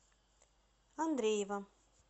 андреева